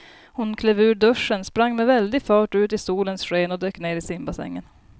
Hon klev ur duschen, sprang med väldig fart ut i solens sken och dök ner i simbassängen.